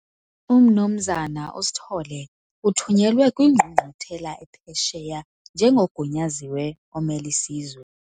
UMnumzana uSithole uthunyelwe kwingqungquthela ephesheya njengogunyaziwe omel' isizwe.